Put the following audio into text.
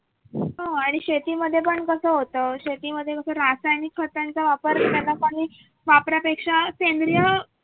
हो आणि मग शेतीमध्ये पण कस होत शेतीमध्ये कस रासायनिक खतांचा वापर त्या लोकांनी वापरापेक्षा सेंद्रिय